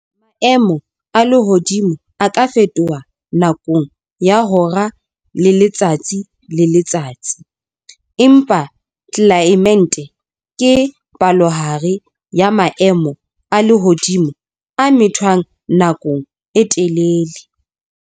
Maemo a lehodimo a ka fetoha nakong ya hora le letsatsi le letsatsi, empa tlelaemete ke palohare ya maemo a lehodimo a methwang nakong e telele.